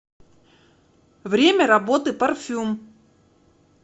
время работы парфюм